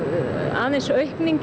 aðeins aukning